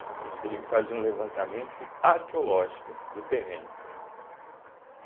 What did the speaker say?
Eles teriam que fazer um levantamento arqueológico do terreno.